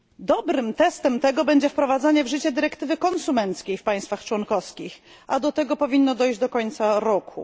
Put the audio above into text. Dobrym testem tego będzie wprowadzenie w życie dyrektywy konsumenckiej w państwach członkowskich, a do tego powinno dojść do końca roku.